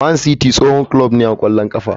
Man City tsohon kulob ne na ƙwallon ƙafa.